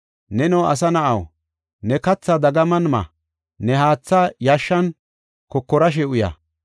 “Neno asa na7aw, ne kathaa dagaman ma; ne haathaa yashshan kokorashe uya.